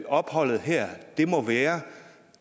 opholdet her må være